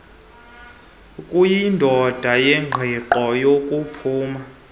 kuyindawo yengqiqo yokuphuma